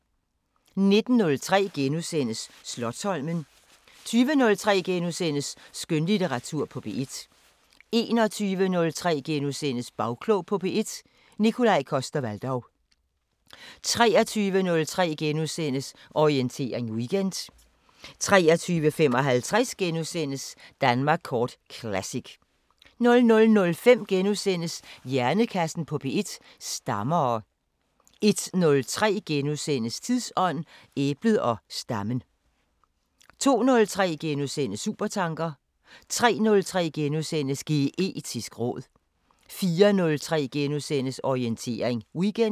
19:03: Slotsholmen * 20:03: Skønlitteratur på P1 * 21:03: Bagklog på P1: Nikolaj Coster-Waldau * 23:03: Orientering Weekend * 23:55: Danmark kort Classic * 00:05: Hjernekassen på P1: Stammere * 01:03: Tidsånd: Æblet og stammen * 02:03: Supertanker * 03:03: Geetisk råd * 04:03: Orientering Weekend *